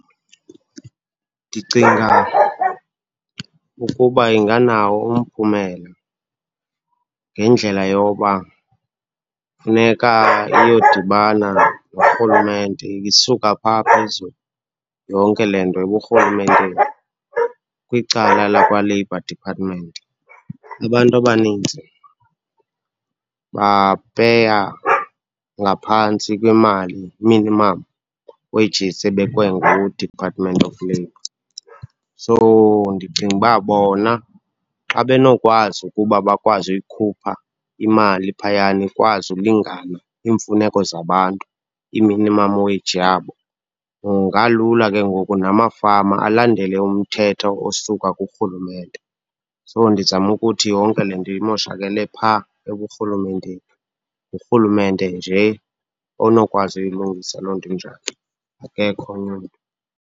Ndicinga ukuba inganawo umphumelo ngendlela yoba funeka iyodibana norhulumente, isuka pha phezulu yonke le nto eburhulumenteni, kwicala lakwa-Labor Department. Abantu abanintsi bapeya ngaphantsi kwemali, minimum wages, ebekwe ngu-Department of Labor. So, ndicinga uba bona xa benokwazi ukuba bakwazi uyikhupha imali phayana ikwazi ukulingana iimfuneko zabantu, ii-minimum wage yabo, kungalula ke ngoku namafama alandele umthetho osuka kurhulumente. So, ndizama ukuthi yonke le nto imoshakele pha eburhulumenteni. Ngurhulumente nje onokwazi uyilungisa loo nto injalo. Akekho omnye umntu.